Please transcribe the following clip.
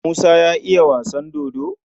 Musa ya iya wasan dodo?